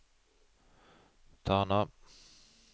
Tana